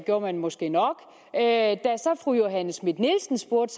gjorde man måske nok da så fru johanne schmidt nielsen spurgte